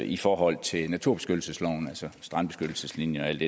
i forhold til naturbeskyttelsesloven altså strandbeskyttelseslinjen og alt